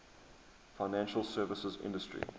financial services industry